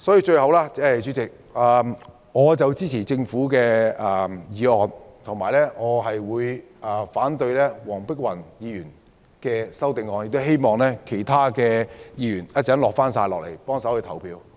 最後，主席，我支持政府建議的《修訂規例》，反對黃碧雲議員動議的擬議決議案，亦希望其他議員稍後返回會議廳投票。